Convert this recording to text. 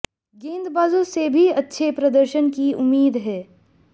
गेंदबाजों से भी अच्छे प्रदर्शन की उम्मीद है